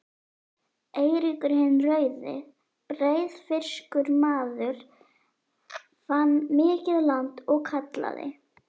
Eiríkur hinn rauði, breiðfirskur maður, fann mikið land og kallaði